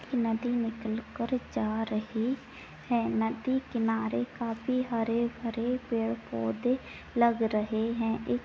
नदी निकल कर जा रही है| नदी किनारे काफी हरे- भरे पेड़-पौधे लग रहे हैं| एक--